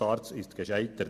SARZ ist gescheitert.